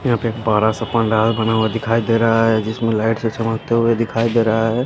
यहां पे एक बड़ा सा पंडाल बना हुआ दिखाई दे रहा है जिसमें लाइट से चमकते हुए दिखाई दे रहा है।